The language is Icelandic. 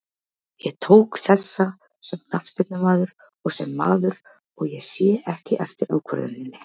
Ég tók þessa sem knattspyrnumaður og sem maður, og ég sé ekki eftir ákvörðuninni.